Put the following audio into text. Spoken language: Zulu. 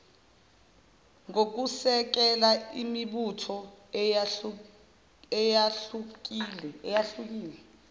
ngokusekela imibutho eyahlukile